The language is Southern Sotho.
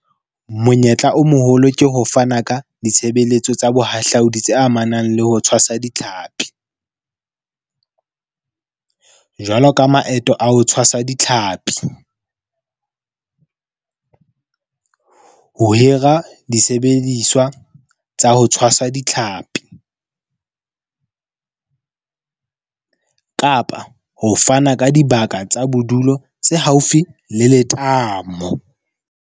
Monyetla o moholo ke ho fana ka ditshebeletso tsa bohahlaodi tse amanang le ho tshwasa ditlhapi. Jwalo ka maeto a ho tshwasa ditlhapi. Ho hira disebediswa tsa ho tshwasa ditlhapi kapa ho fana ka dibaka tsa bodulo tse haufi le letamo.